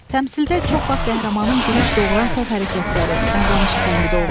Təmsildə çox vaxt qəhrəmanın gülüş doğuran səhv hərəkətləri, davranışı tənqid olunur.